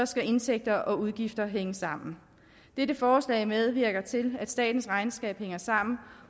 skal indtægter og udgifter hænge sammen dette forslag medvirker til at statens regnskab hænger sammen